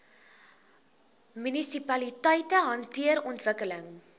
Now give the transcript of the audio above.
munisipaliteite hanteer ontwikkeling